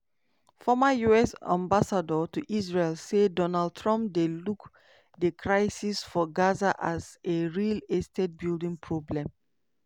former us ambassador to israel say donald trump dey look di crisis for gaza as "a real estate building problem".